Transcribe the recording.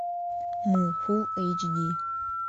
мы фулл эйч ди